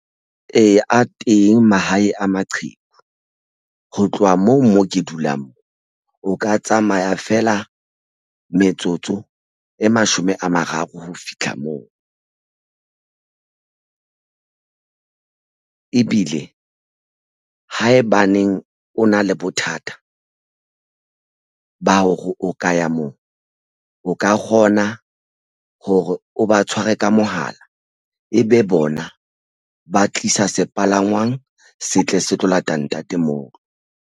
Ee, a teng mahae a maqheku ho tloha moo mo ke dulang moo o ka tsamaya feela metsotso e mashome a mararo ho fitlha moo ebile haebaneng o na le bothata ba hore o ka ya moo o ka kgona hore o ba tshware ka mohala ebe bona ba tlisa sepalangwang se tle se tlo lata ntatemoholo.